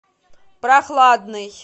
прохладный